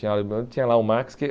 Tinha lá o Max que